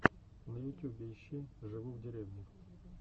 на ютюбе ищи живу в деревне